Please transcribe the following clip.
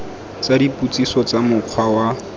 tsa dipotsiso tsa mokgwa wa